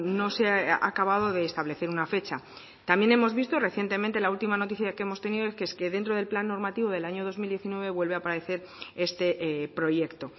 no se ha acabado de establecer una fecha también hemos visto recientemente la última noticia que hemos tenido que es que dentro del plan normativo del año dos mil diecinueve vuelve a aparecer este proyecto